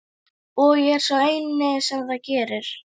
Og ég er sá eini sem það gerir.